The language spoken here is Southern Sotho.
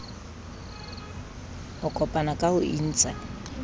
ho kopana ka ho intsha